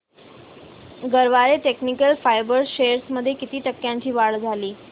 Garware technical fibres shares मध्ये किती टक्क्यांची वाढ झाली